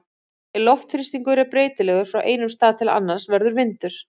Ef loftþrýstingur er breytilegur frá einum stað til annars verður vindur.